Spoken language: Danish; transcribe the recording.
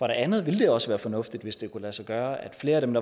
andet ville det også være fornuftigt hvis det kunne lade sig gøre at flere af dem